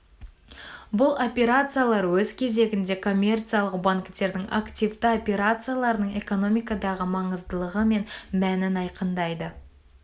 бұл операциялар өз кезегінде коммерциялық банктердің активті операцияларының экономикадағы маңыздылығы мен мәнін айқындайды